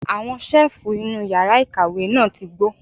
Àwọn ṣẹ́ẹ̀fù inú yàrá ìkàwé náà ti gbó.